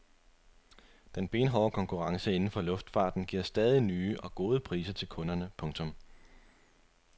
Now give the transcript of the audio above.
Den benhårde konkurrence inden for luftfarten giver stadig nye og gode priser til kunderne. punktum